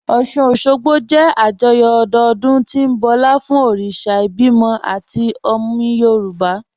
Ọ́ṣun-Òṣogbo jẹ́ àjọyọ̀ ọdọọdún tí ń bọlá fún òrìṣà ìbímọ àti omi Yorùb